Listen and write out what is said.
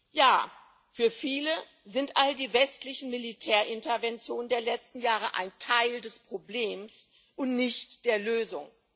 Ja, für viele sind all die westlichen Militärinterventionen der letzten Jahre ein Teil des Problems und nicht der Lösung.